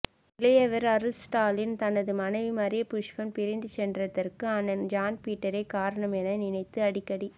இளையவர் அருள்ஸ்டாலின் தனது மனைவி மரியபுஷ்பம் பிரிந்து சென்றதற்கு அண்ணன் ஜான்பீட்டரே காரணம் என நினைத்து அடிக்கடி